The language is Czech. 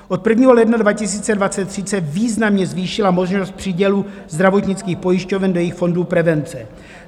Od 1. ledna 2023 se významně zvýšila možnost přídělu zdravotnických pojišťoven do jejich fondů prevence.